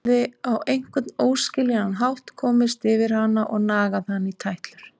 Hafði á einhvern óskiljanlegan hátt komist yfir hana og nagað hana í tætlur.